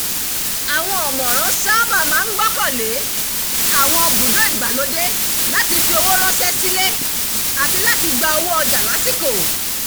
àwọn ọ̀mọ̀ràn sáábà máa ń gbọ́kànlé àwọn bùdó ìgbàlódé láti fi owó ránṣẹ́ sílé àti láti gba owó ọjà lásìkò